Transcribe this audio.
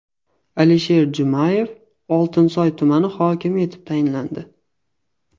Alisher Jumayev Oltinsoy tumani hokimi etib tayinlandi.